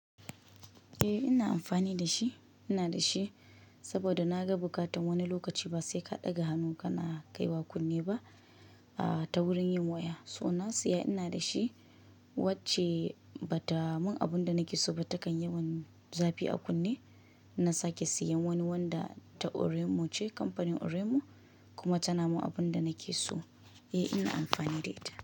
Eh ina amfani da shi, ina da shi saboda na ga buƙatan wani lokaci ba sai ka ɗaga hannu ka na kai wa kunne ba, a ta wurin yin waya. So na siya ina da shi wacce ba ta mun abunda nike so ba. Takan yi yawan zafi a kunne. Na sake siyan wani wanda ta Oraimo ce, kamfanin Oremo kuma ta na mun abunda nake so. Eh ina amfani da ita.